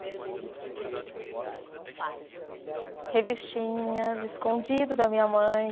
Primeiro beijo não foi tão inexperiente, que que você lia. Revistinhas, escondido da minha mãe